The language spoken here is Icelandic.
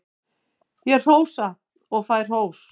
Ég hrósa og fæ hrós.